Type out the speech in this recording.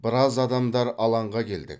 біраз адамдар алаңға келдік